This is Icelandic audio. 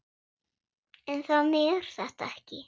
En þannig er þetta ekki.